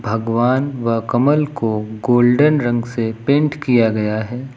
भगवान व कमल को गोल्डन रंग से पेंट किया गया है।